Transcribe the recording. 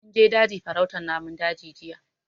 Mun je daji farautan namun daji jiya